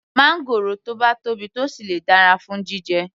Máńgòrò tó bá tóbi tó sì le dára fún jíjẹ